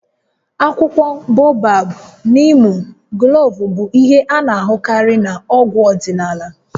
Akwụkwọ Bobab, niimu, gloovu bụ ihe a na-ahụkarị na-ọgwụ ọdịnala